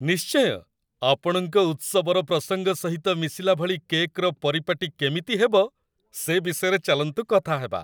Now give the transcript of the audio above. ନିଶ୍ଚୟ! ଆପଣଙ୍କ ଉତ୍ସବର ପ୍ରସଙ୍ଗ ସହିତ ମିଶିଲା ଭଳି କେକ୍‌ର ପରିପାଟୀ କେମିତି ହେବ, ସେ ବିଷୟରେ ଚାଲନ୍ତୁ କଥାହେବା।